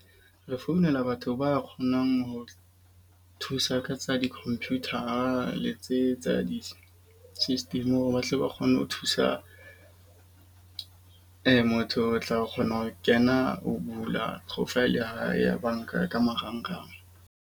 Re founela batho ba kgonang ho thusa ka tsa di-computer-a le tse tsa di system, hore batle ba kgone ho thusa motho o tla kgona ho kena ho bula profile ya hae ya banka ka marangrang.